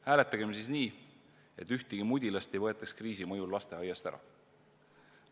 Hääletagem siis nii, et ühtegi mudilast ei võetaks kriisi mõjul lasteaiast ära!